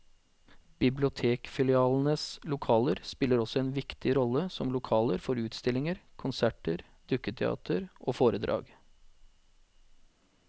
Bibliotekfilialenes lokaler spiller også en viktig rolle som lokaler for utstillinger, konserter, dukketeater og foredrag.